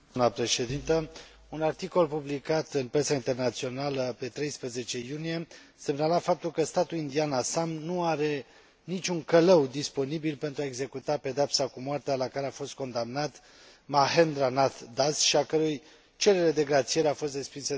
Un articol publicat în presa internațională pe 13 iunie semnala faptul că statul indian Assam nu are niciun călău disponibil pentru a executa pedeapsa cu moartea la care a fost condamnat Mahendra Nath Das și a cărui cerere de grațiere a fost respinsă de către președintele țării.